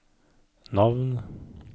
navn